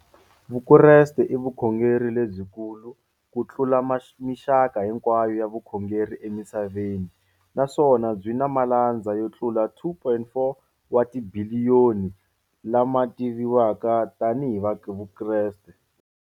Vukreste i vukhongeri lebyi kulu kutlula mixaka hinkwayo ya vukhongeri emisaveni, naswona byi na malandza yo tlula 2.4 wa tibiliyoni, la ma tiviwaka tani hi Vakreste.